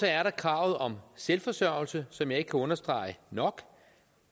er der kravet om selvforsørgelse som jeg ikke kan understrege nok